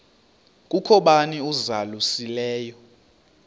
kukho bani uzalusileyo